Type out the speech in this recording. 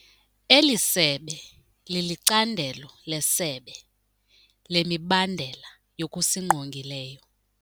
Eli sebe lilicandelo leSebe lemiBandela yokusiNgqongileyo.